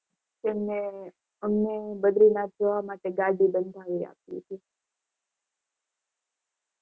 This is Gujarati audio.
એમને અમને બદ્રીનાથ નાથ જોવા માટે અમને ગાડી બંધાવી આપી હતી